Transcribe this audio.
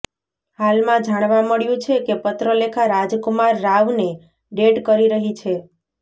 હાલમાં જાણવા મળ્યું છે કે પત્રલેખા રાજકુમાર રાવને ડેટ કરી રહી છે